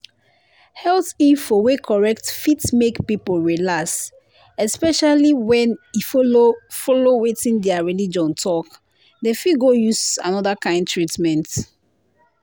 health info wey correct fit make people relax especially when e follow follow wetin their religion talk. dem fit go use another kind treatment.